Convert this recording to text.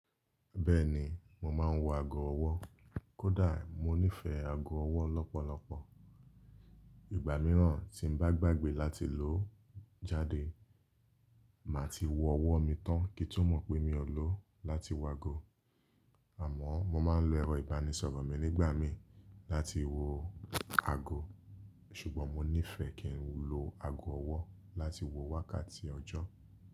Bẹ́ẹ̀ni, mò máa ń wọ ago ọwọ́, kódà mo nífẹ̀ẹ́ ago ọwọ́ lọ́pọ̀lọpọ̀. Ìgbà mìíràn tí m bá gbàgbé láti lòo jáde, màá ti wọ ọwọ́ mi tán kí tun mọ̀ pé mi ò lóo láti wọ ago. Àmọ́, mo máa ń lo ẹ̀rọ ìbánisọ̀rọ̀ mi nígbàmii láti wo ago, ṣùgbọ́n mo nífẹ̀ẹ́ kí ń lo ago ọwọ́ láti wo wákàtí ọjọ́.